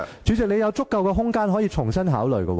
主席，你有足夠空間可重新考慮。